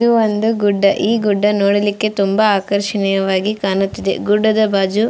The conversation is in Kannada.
ಇದು ಒಂದು ಗುಡ್ಡ ಈ ಗುಡ್ಡ ನೋಡಲಿಕ್ಕೆ ತುಂಬ ಆಕರ್ಷಣೀಯವಾಗಿ ಕಾಣುತ್ತಿದೆ ಗುಡ್ಡದ ಬಾಜು --